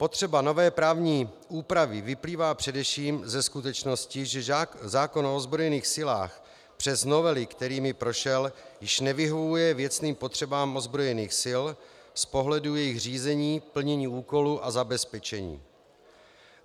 Potřeba nové právní úpravy vyplývá především ze skutečnosti, že zákon o ozbrojených silách přes novely, kterými prošel, již nevyhovuje věcným potřebám ozbrojených sil z pohledu jejich řízení, plnění úkolů a zabezpečení.